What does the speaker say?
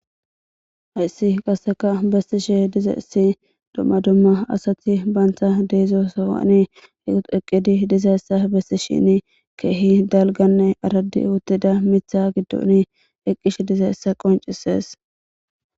Haysi qaseka besishe dizayisi duma duma asati bantha deizo sohoni eqidi dizayisa besishini kehi dalganne aradi utida mitha gidoni eqishe dizayisa besees